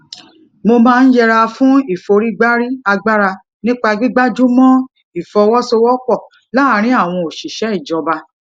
mo máa ń yẹra fún ìforígbárí agbára nípa gbígbájú mó ìfọwósowópò láàárín àwọn òṣìṣé ìjọba